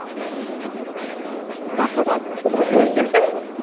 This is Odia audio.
ବାପା ମାଙ୍କୁ ଧରିବି